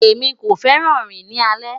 Emi ko fẹran rin ni alẹ